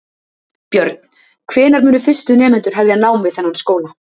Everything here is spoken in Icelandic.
Björn: Hvenær munu fyrstu nemendur hefja nám við þennan skóla?